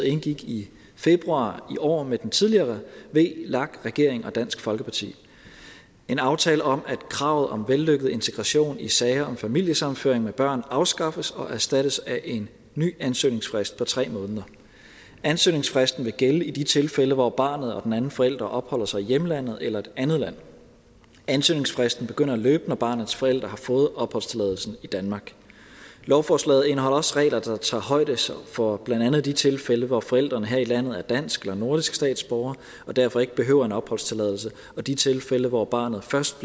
indgik i februar i år med den tidligere vlak regering og dansk folkeparti en aftale om at kravet om vellykket integration i sager om familiesammenføring med børn afskaffes og erstattes af en ny ansøgningsfrist på tre måneder ansøgningsfristen vil gælde i de tilfælde hvor barnet og den anden forælder opholder sig i hjemlandet eller et andet land ansøgningsfristen begynder at løbe når barnets forælder har fået opholdstilladelsen i danmark lovforslaget indeholder også regler der tager højde for blandt andet de tilfælde hvor forælderen her i landet er dansk eller nordisk statsborger og derfor ikke behøver en opholdstilladelse og de tilfælde hvor barnet først